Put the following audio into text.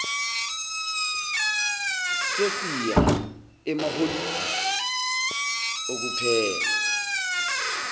sesiya emaholidini okuphela